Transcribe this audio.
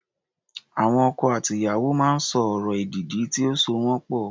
Àwọn ọkọ àti ìyàwó máa ń sọ ọ̀rọ̀ èdìdì tí ó so wọ́n pọ̀.